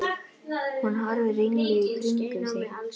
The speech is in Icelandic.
Hún horfir ringluð í kringum sig.